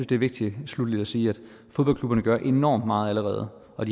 det er vigtigt sluttelig at sige at fodboldklubberne gør enormt meget allerede og